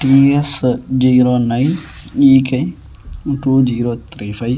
TS zero nine E K two zero three five .